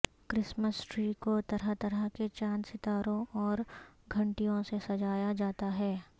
Christmas tree کو طرح طرح کے چاند ستاروں اور گھنٹیوں سے سجایا جاتا ہے